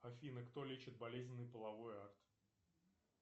афина кто лечит болезненный половой акт